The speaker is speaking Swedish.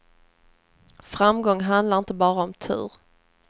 Framgång handlar inte bara om tur.